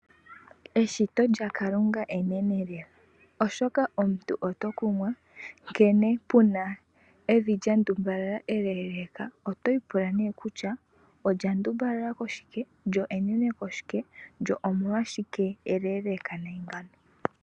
Eshito lyaKalunga enene lela, oshoka omuntu oto kumwa nkene puna evi lya ndumbalala eleeleka, oto ipula nee kutya, olya ndumbalala koshike, lyo enene koshike lyo omolwashike eleeleka nayi ngawo.